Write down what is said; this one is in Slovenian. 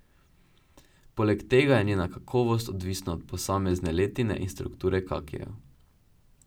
Poleg tega je njena kakovost odvisna od posamezne letine in strukture kakijev.